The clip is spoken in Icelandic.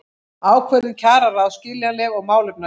Ákvörðun kjararáðs skiljanleg og málefnaleg